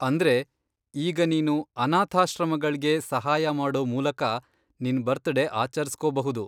ಅಂದ್ರೆ, ಈಗ ನೀನು ಅನಾಥಾಶ್ರಮಗಳ್ಗೆ ಸಹಾಯ ಮಾಡೋ ಮೂಲಕ ನಿನ್ ಬರ್ತಡೇ ಆಚರ್ಸ್ಕೋಬಹುದು.